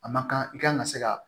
A ma kan i kan ka se ka